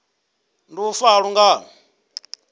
ndi u fa ha lungano